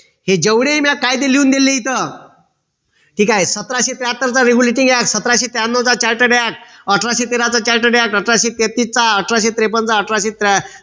हे जेवढे मी कायदे लिहून दिले इथं ठीक आहे सतराशे त्र्याहत्तरचा regulating act सतराशे त्र्यांनोचा charted act अठराशे तेरा चा charted act अठराशे तेहतीसचा अठराशे त्रेपन्नचा अठराशे